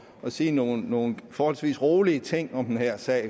sige nogle nogle forholdsvis rolige ting om den her sag